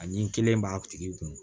A ni n kelen b'a tigi kun